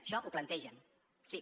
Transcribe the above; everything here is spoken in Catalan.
això ho plantegen sí